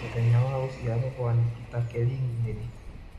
mũthenya wa gũcĩarwo gwa Nikita Kering nĩ rĩ